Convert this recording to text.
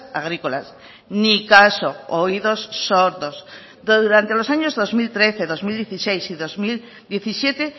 agrícolas ni caso oídos sordos durante los años dos mil trece dos mil dieciséis y dos mil diecisiete